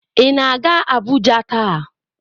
Ị na-aga Abuja taa?